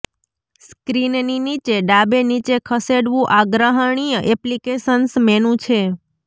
સ્ક્રીનની નીચે ડાબે નીચે ખસેડવું આગ્રહણીય એપ્લિકેશન્સ મેનૂ છે